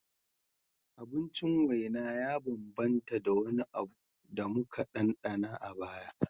Abincin waina ya bambanta da wani abu da muka ɗanɗana a baya